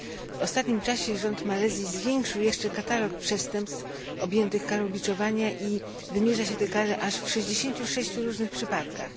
W ostatnim czasie rząd Malezji zwiększył jeszcze katalog przestępstw objętych karą biczowania i wymierza się tę karę aż w 66 różnych przypadkach.